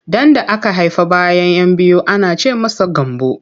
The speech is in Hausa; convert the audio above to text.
Ɗan da aka haifa bayan 'yan biyu ana ce masa Gambo.